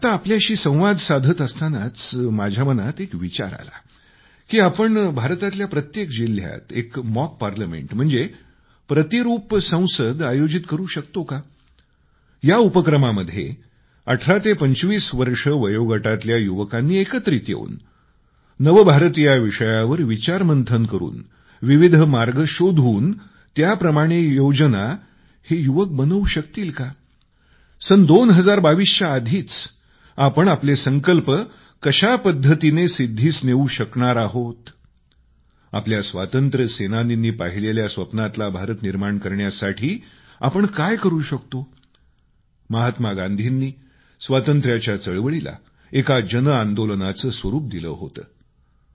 आत्ता आपल्याशी संवाद साधत असतानाच माझ्या मनात एक विचार आला की आपण भारतातल्या प्रत्येक जिल्ह्यात एक मॉक पार्लमेंट म्हणजे प्रतिरूप संसद आयोजित करू शकतो का या उपक्रमामध्ये 18 ते 25 वर्षे वयोगटातल्या युवकांनी एकत्रित येवून नव भारत याविषयावर विचार मंथन करून विविध मार्ग शोधून त्याप्रमाणे योजना हे युवक बनवू शकतील का सन 2022च्या आधीच आपण आपले संकल्प कशा पद्धतीने सिद्धीस नेवू शकणार आहे आपल्या स्वातंत्र्य सेनानींनी पाहिलेल्या स्वप्नातला भारत निर्माण करण्यासाठी आपण काय करू शकतो महात्मा गांधींनी स्वातंत्र्याच्या चळवळीला एका जन आंदोलनाचं स्वरूप दिलं होतं